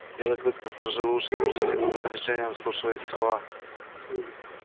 белый клык насторожил уши с мучительным напряжением вслушиваясь в слова